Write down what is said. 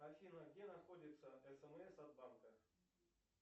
афина где находится смс от банка